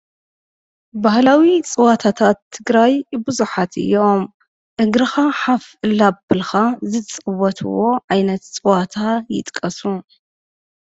ባህላዊ ፅወታት ትግራይ ቡዙሓት እዮም። እግርኻ ሓፍ እንዳበልካ ዝፅወቱ ዓይነት ፀወታ ይጥቀሱ?